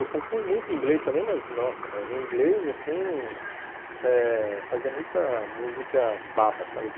Eu compunha muito inglês também, mas, nossa, mas em inglês, assim eh...fazia muita música baba, sabe?